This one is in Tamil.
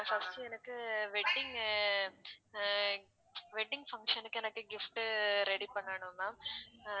first எனக்கு wedding ஆ அஹ் wedding function க்கு எனக்கு gift உ ready பண்ணணும் ma'am